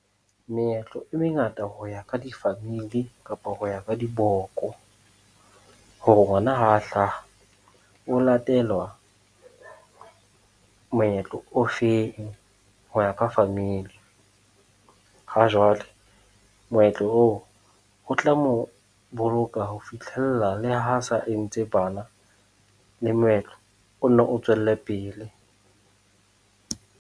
Meetlo e mengata ho ya ka di-family kapa ho ya ka diboko, hore ngwana ha a hlaha, o latelwa moetlo o feng ho ya ka family? Ha jwale moetlo oo, o tla mo boloka ho fitlhella le ha a sa entse bana, le moetlo o nno o tswelle pele.